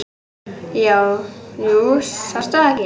Jú, sástu það ekki.